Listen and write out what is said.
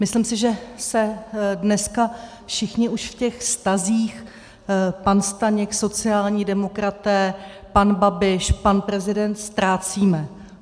Myslím si, že se dneska všichni už v těch vztazích pan Staněk, sociální demokraté, pan Babiš, pan prezident ztrácíme.